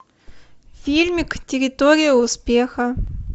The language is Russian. фильмик территория успеха